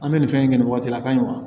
An bɛ nin fɛn in kɛ nin waati la a ka ɲi wa